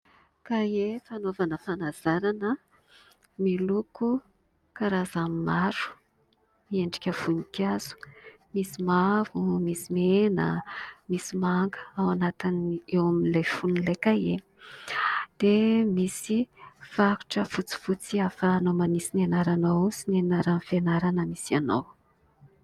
Kahie fanaovana fanazarana miloko karazany maro, miendrika voninkazo. Misy mavo, misy mena, misy manga ao anatiny eo amin'ilay fonon'ilay kahie dia misy faritra fotsifotsy ahafahanao manisy ny anaranao sy ny anaran'ny fianarana misy ianao.